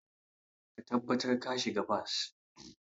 Ka tabbatar ka shiga bas.